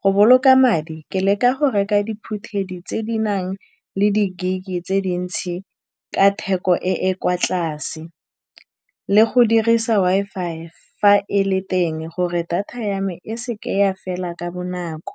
Go boloka madi, ke leka go reka diphuthedi tse di nang le di-gig-e tse dintsi ka theko e e kwa tlase, le go dirisa Wi-Fi fa e le teng, gore data ya me e seka ya fela ka bonako.